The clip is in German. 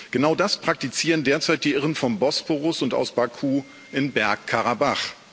Genau das praktizieren derzeit die Irren vom Bosporus und aus Baku in Bergkarabach.